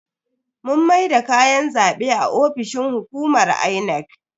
Mun maida kayan zabe a ofishin hukumar Inec.